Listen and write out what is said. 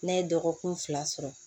Ne ye dɔgɔkun fila sɔrɔ